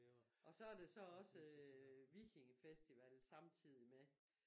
Og så det så også vikingefestival samtidig med